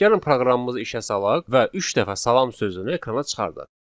Gəlin proqramımızı işə salaq və üç dəfə salam sözünü ekrana çıxardıq.